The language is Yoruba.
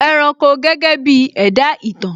ẹranko gẹ́gẹ́ bí ẹ̀dá ìtàn